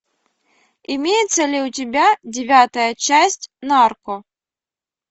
имеется ли у тебя девятая часть нарко